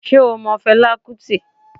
Sé o mo Felá Kútì?